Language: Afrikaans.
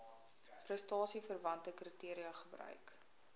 prestasieverwante kriteria gebruik